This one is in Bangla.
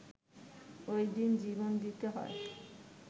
ওই দিন জীবন দিতে হয়